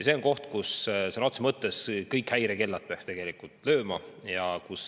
See on koht, kus sõna otseses mõttes kõik häirekellad peaksid tööle hakkama.